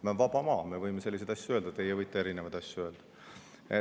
Meil on vaba maa, me võime selliseid asju öelda, teie võite ka erinevaid asju öelda.